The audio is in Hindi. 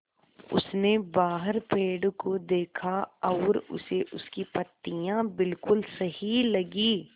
उसने बाहर पेड़ को देखा और उसे उसकी पत्तियाँ बिलकुल सही लगीं